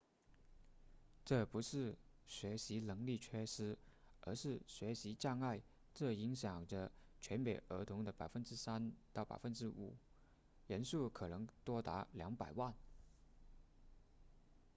这不是学习能力缺失而是学习障碍这影响着全美儿童的 3% 到 5% 人数可能多达200万